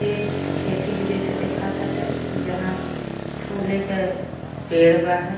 ये खेती के जैसे देखा ताटे जहाँ फुले क पेड़ बा है।